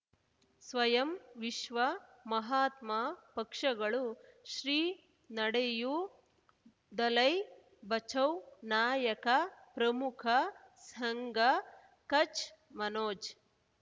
ಸ್ವಯಂ ವಿಶ್ವ ಮಹಾತ್ಮ ಪಕ್ಷಗಳು ಶ್ರೀ ನಡೆಯೂ ದಲೈ ಬಚೌ ನಾಯಕ ಪ್ರಮುಖ ಸಂಘ ಕಚ್ ಮನೋಜ್